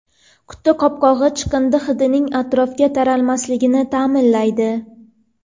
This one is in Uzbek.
Quti qopqog‘i chiqindi hidining atrofga taralmasligini ta’minlaydi.